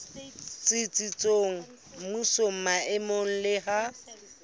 tsitsitseng mmusong maemong le ha